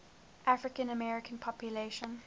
african american population